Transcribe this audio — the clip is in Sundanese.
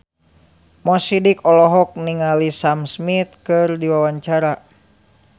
Mo Sidik olohok ningali Sam Smith keur diwawancara